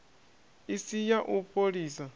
i si ya u fholisa